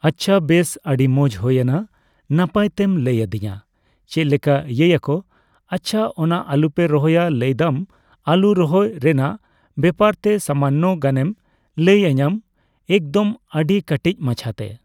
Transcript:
ᱟᱪᱪᱷᱟ ᱵᱮᱥ ᱟᱹᱰᱤ ᱢᱚᱸᱡᱽ ᱦᱳᱭᱮᱱᱟ ᱱᱟᱯᱟᱭ ᱛᱮᱢ ᱞᱟᱹᱭ ᱟᱹᱫᱤᱧᱟ ᱪᱮᱫ ᱞᱮᱠᱟ ᱤᱭᱟᱹ ᱭᱟᱠᱚ ᱾ ᱟᱪᱪᱷᱟ ᱚᱱᱟ ᱟᱞᱩ ᱯᱮ ᱨᱚᱦᱚᱭᱟ ᱞᱟᱹᱭ ᱫᱟᱢ ᱟᱞᱩ ᱨᱚᱦᱚᱭ ᱨᱮᱱᱟᱜ ᱵᱮᱯᱟᱨ ᱛᱮ ᱥᱟᱢᱟᱱᱱᱚ ᱜᱟᱱᱮᱢ ᱞᱟᱹᱭᱟᱧᱟᱢ ᱮᱠᱫᱚᱢ ᱟᱹᱰᱤ ᱠᱟᱴᱤᱡ ᱢᱟᱪᱷᱟ ᱛᱮ ᱾